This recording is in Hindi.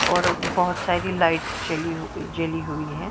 और बहोत सारी लाइट्स जली हुई जली हुई है।